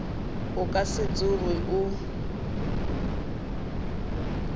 o ka se tsoge o